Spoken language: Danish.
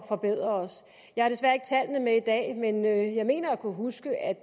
forbedre os jeg har desværre ikke tallene med i dag men jeg mener at kunne huske at